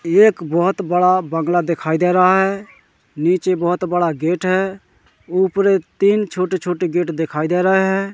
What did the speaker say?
एक बहोत बड़ा बंगला दिखाई दे रहा है नीचे बहोत बड़ा गेट है ऊपरे तीन छोटे छोटे गेट दिखाई दे रहे है।